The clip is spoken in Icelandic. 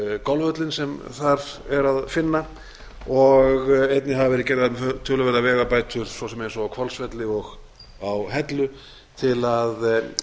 golfvöllinn sem þar er að finna og einnig hafa verið gerðar töluverðar vegabætur svo sem eins og á hvolsvelli og á hellu til að